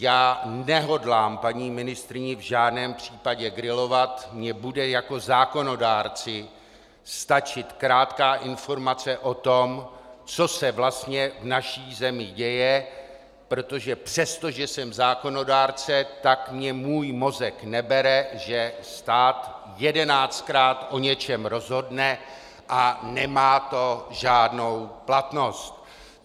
Já nehodlám paní ministryni v žádném případě grilovat, mně bude jako zákonodárci stačit krátká informace o tom, co se vlastně v naší zemi děje, protože přesto, že jsem zákonodárce, tak mi můj mozek nebere, že stát jedenáctkrát o něčem rozhodne a nemá to žádnou platnost.